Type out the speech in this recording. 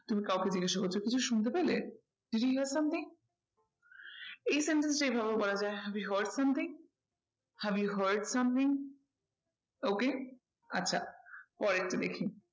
তুমি কাউকে জিজ্ঞাসা করছো কিছু শুনতে পেলে? did you hear something? এই sentence টা এই ভাবেও বলা যায় have you had something, have you had something okay আচ্ছা পরেরটা দেখি